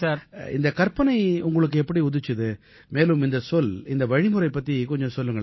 இந்தக் கற்பனை உங்களுக்கு எப்படி உதிச்சுது மேலும் இந்தச் சொல் இந்த வழிமுறை பத்தி கொஞ்சம் சொல்லுங்களேன்